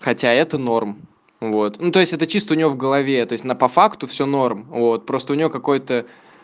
хотя это норм вот ну то есть это чисто у нее в голове то есть на по факту все норм вот просто у нее какой-то